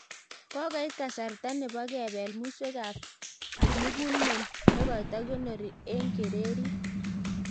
Kokoit kasarta nebo kepel muswek ab kimugulmet nekoto kikonori eng kererit